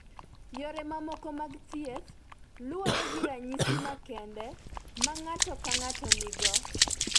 Yore mamoko mag thieth luwore gi ranyisi makende ma ng�ato ka ng�ato nigo.